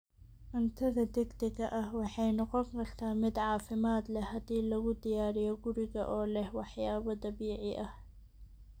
Cuntada degdega ah waxay noqon kartaa mid caafimaad leh haddii lagu diyaariyo guriga oo leh waxyaabo dabiici ah.